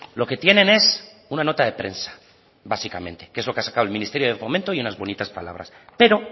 lo que tienen es una nota de prensa básicamente que es lo que ha sacado el ministerio de fomento y unas bonitas palabras pero